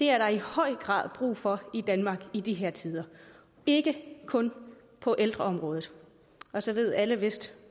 er der i høj grad brug for i danmark i de her tider ikke kun på ældreområdet og så ved alle vist